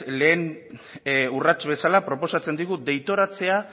lehen urrats bezala proposatzen digu deitoratzea